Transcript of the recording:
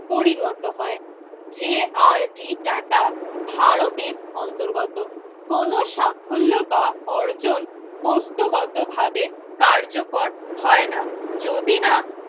পরিণত হয় যে আর ডি টাটা ভারতের অন্তর্গত কোন সাফল্য বা অর্জন বস্তুগতভাবে কার্যকর হয় না যদি না